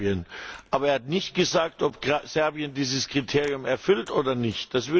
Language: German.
Er hat aber nicht gesagt, ob Serbien dieses Kriterium erfüllt oder nicht.